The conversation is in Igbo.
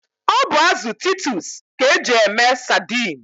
Ọ bụ azụ titus ka eji eme sadine.